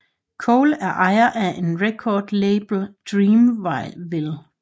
Cole er ejer af record label Dreamville